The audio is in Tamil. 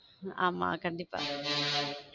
ஆமா கண்டிப்பா